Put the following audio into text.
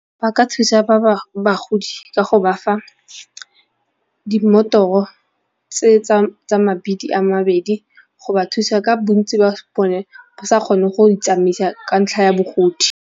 Ba ka thusa bagodi ka go ba fa dimmotoro tse tsa a mabedi go ba thusa ka bontsi ba bone bo sa kgone go itsamaisa ka ntlha ya bogodi.